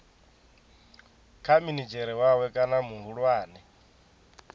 kha minidzhere wawe kana muhulwane